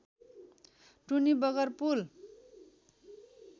टुनी बगर पुल